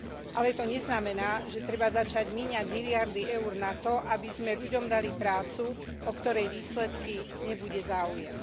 Ale to neznamená, že treba začať míňať miliardy eur na to, aby sme ľuďom dali prácu, o ktorej výsledky nebude záujem.